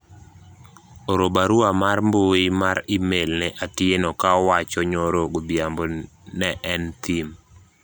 oro barua mar mbui mar email ne Atieno ka owacho nyoro godhiambo ne en thim